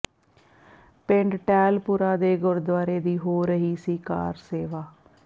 ਪਿੰਡ ਟਹਿਲਪੁਰਾ ਦੇ ਗੁਰਦੁਆਰੇ ਦੀ ਹੋ ਰਹੀ ਸੀ ਕਾਰ ਸੇਵਾ